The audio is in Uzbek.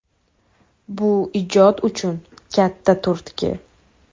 Bu ijod uchun katta turtki”.